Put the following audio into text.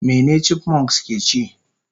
Mene chipmunks keci?